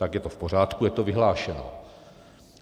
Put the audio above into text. Pak je to v pořádku, je to vyhlášeno.